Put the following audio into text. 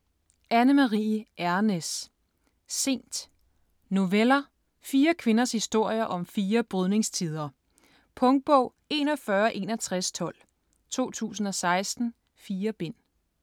Ejrnæs, Anne Marie: Sent Noveller. Fire kvinders historier om fire brydningstider. Punktbog 416112 2016. 4 bind.